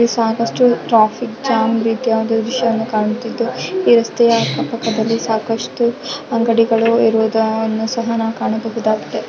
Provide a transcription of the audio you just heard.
ಇಲ್ಲಿ ಸಾಕಷ್ಟು traffic jam ರೀತಿಯ ಒಂದು ದೃಶ್ಯವನ್ನು ಕಾಣುತ್ತಿದ್ದು ಈ ರಸ್ತೆಯ ಅಕ್ಕ ಪಕ್ಕದಲ್ಲಿ ಸಾಕಷ್ಟು ಅಂಗಡಿಗಳು ಇರುವುದನ್ನು ಸಹ ನಾವು ಕಾಣಬಹುದಾಗಿದೆ.